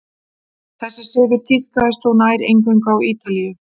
þessi siður tíðkaðist þó nær eingöngu á ítalíu